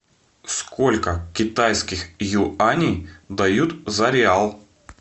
сколько китайских юаней дают за реал